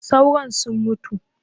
Sauron sun mutu